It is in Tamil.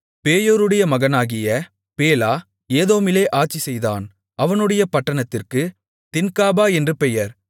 பேயோருடைய மகனாகிய பேலா ஏதோமிலே ஆட்சிசெய்தான் அவனுடைய பட்டணத்திற்குத் தின்காபா என்று பெயர்